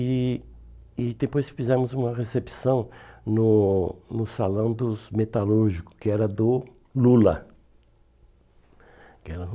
E e depois fizemos uma recepção no no Salão dos Metalúrgicos, que era do Lula. Que era do